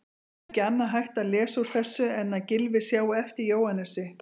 Ekki annað hægt að lesa úr þessu en að Gylfi sjái eftir Jóhannesi.